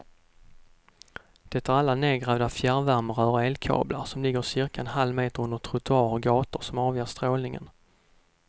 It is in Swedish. Det är alla nedgrävda fjärrvärmerör och elkablar som ligger cirka en halvmeter under trottoarer och gator som avger strålningen.